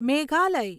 Meghalaya